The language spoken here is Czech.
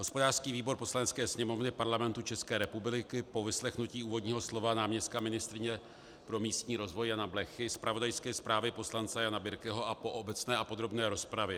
Hospodářský výbor Poslanecké sněmovny Parlamentu České republiky po vyslechnutí úvodního slova náměstka ministryně pro místní rozvoj Jana Blechy, zpravodajské zprávy poslance Jana Birkeho a po obecné a podrobné rozpravě: